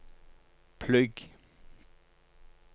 plugg